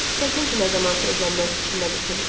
Çətin ki, nə zamansa evlənmək fikrinə düşüm.